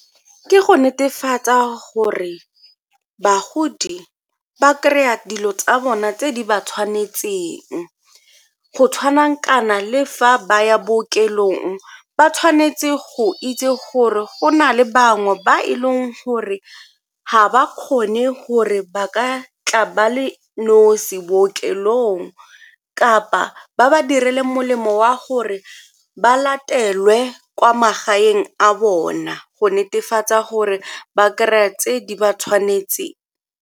Ke go netefatsa gore bagodi ba kry-a dilo tsa bona tse di ba tshwanetseng, go tshwanang kana le fa ba ya bookelong ba tshwanetse go itse gore go na le bangwe ba e leng gore ga ba kgone gore ba ka tla ba le nosi bookelong kapa ba ba direle molemo wa gore ba latelwe kwa magaeng a bona go netefatsa gore ba kry-a tse di ba tshwanetseng.